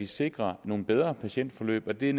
sikrer nogle bedre patientforløb og det